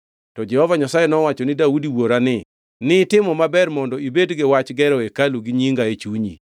To Jehova Nyasaye nowacho ni Daudi wuora ni, ‘Nitimo maber mondo ibed gi wach gero hekalu ni nyinga e chunyi.